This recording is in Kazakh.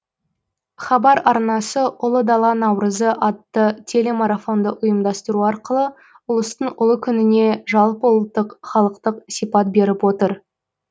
хабар арнасы ұлы дала наурызы атты телемарафонды ұйымдастыру арқылы ұлыстың ұлы күніне жалпыұлттық халықтық сипат беріп отыр